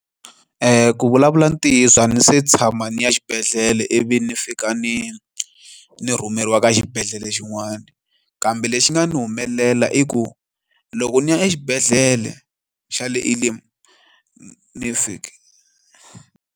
Ku vulavula ntiyiso a ni se tshama ni ya xibedhlele ivi ni fika ni rhumeriwa ka xibedhlele xin'wana, kambe lexi nga ni humelela i ku loko ni ya exibedhlele xa le Elim ni fika.